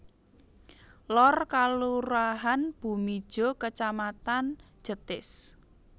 Lor Kalurahan Bumijo Kacamatan Jetis